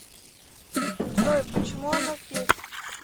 джой почему она здесь